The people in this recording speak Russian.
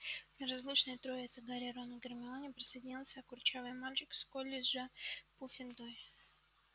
к неразлучной троице гарри рону гермионе присоединился курчавый мальчик из колледжа пуффендуй